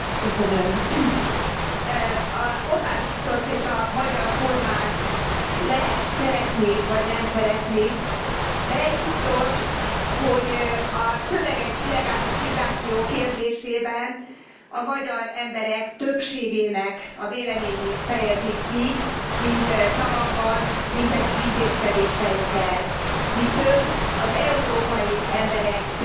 Orbán Viktort és a magyar kormányt lehet szeretni vagy nem szeretni, de egy biztos, hogy a tömeges illegális migráció kérdésében a magyar emberek többségének a véleményét fejezik ki, mind szavakban, mind pedig intézkedéseikkel. Mi több, az európai emberek többségének a véleményét is kifejezik